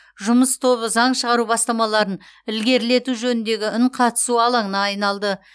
жұмыс тобы заң шығару бастамаларын ілгерілету жөніндегі үнқатысу алаңына айналды